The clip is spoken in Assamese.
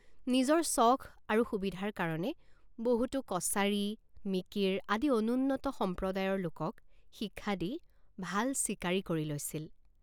নিজৰ চখ আৰু সুবিধাৰ কাৰণে বহুতো কছাৰী মিকিৰ আদি অনুন্নত সম্প্ৰদায়ৰ লোকক শিক্ষা দি ভাল চিকাৰী কৰি লৈছিল।